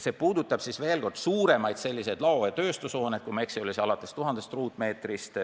See puudutab suuremaid büroo-, lao- ja tööstushooneid, kui ma ei eksi, alates tuhandest ruutmeetrist.